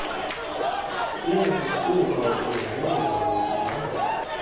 uyakuquka ukonganyelwa nokuvavanywa